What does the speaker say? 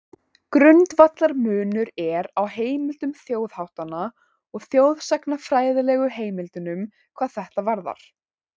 Grundvallarmunur er á heimildum þjóðháttanna og þjóðsagnafræðilegu heimildunum hvað þetta varðar.